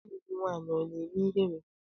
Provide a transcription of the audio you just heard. Nwanne gị nwaanyị ọ na-eme ihere?